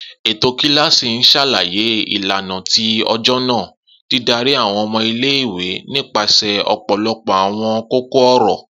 Eto kilasi n ṣalaye ilana ti ọjọ naa, didari àwọn ọmọ ile-iwe nipasẹ ọpọlọpọ àwọn kókó-ọ̀rọ̀.